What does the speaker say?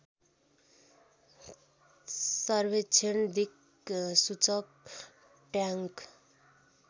सर्वेक्षण दिक्सूचक ट्याङ्क